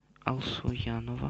алсуянова